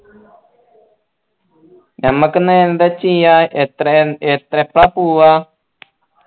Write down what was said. ഞമ്മക്കെന്ന എന്താ ചെയ്യ എപ്പോളാ പോവാ